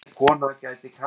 Verður Arnór þar?